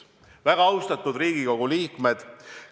Väga austatud Riigikogu liikmed!